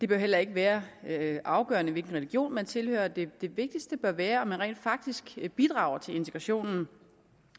heller ikke være afgørende hvilken religion man tilhører det vigtigste bør være om man rent faktisk bidrager til integrationen